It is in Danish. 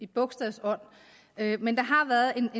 bogstaven men der har været